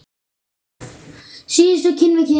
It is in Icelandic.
Síðustu kinn við kinn.